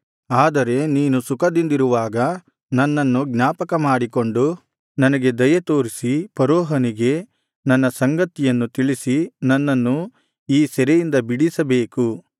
ಆದರೆ ನೀನು ಸುಖದಿಂದಿರುವಾಗ ನನ್ನನ್ನು ಜ್ಞಾಪಕಮಾಡಿಕೊಂಡು ನನಗೆ ದಯೆ ತೋರಿಸಿ ಫರೋಹನಿಗೆ ನನ್ನ ಸಂಗತಿಯನ್ನು ತಿಳಿಸಿ ನನ್ನನ್ನು ಈ ಸೆರೆಯಿಂದ ಬಿಡಿಸಬೇಕು